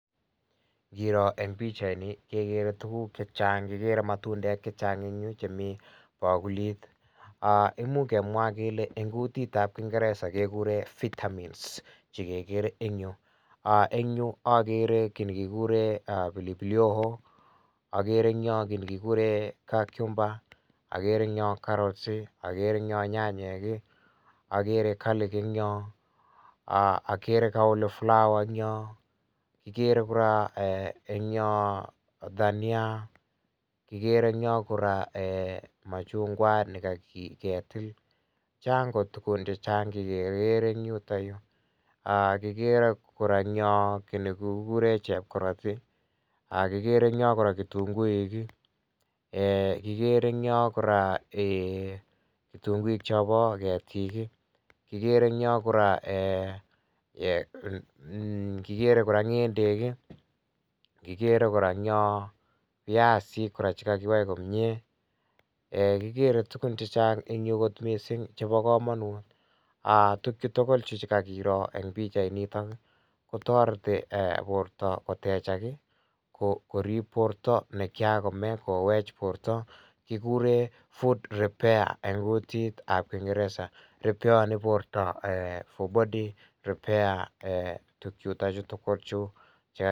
Nkiro eng pichaini kekere tuguk chechang, kikere matundek chechang chemi bakulit um imuch kemwa kele eng kutitap kingereza kekure vitamins chikekere eng yu. um Eng yu akere kiy nekikure um pilipili hoho akere eng yo kiy nekikure cucumber akere eng yo carrots i, akere nyanyek i, akere gerlik eng yo, akere flower[sc] eng yo , kikere kora um eng yo dania kikere eng yo kora um machung'wat nekaketil, chang kot tukun chechang chekekere eng yutoyu um kikere kora eng yo kiy nekikure chepkoroti , um kikere eng yo kora kitunguik, um kikere eng yo kora um kitunguik chopo ketik, kikere eng yo kora um kikere kora ng'endek, kikere eng yo kora piasik chekakiwai komie um kikere tukun chechang eng yu kot mising chepo komonut um tukchutukul chu chekakiro eng pikchainito kotoreti um porto kotechak, korip porto nekchakome kowech porto, kikure food repair eng kutitap kingereza ripeoni porto for body repair um tukchutochu tukul chu.